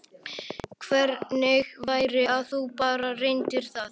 Hvernig væri að þú bara reyndir það?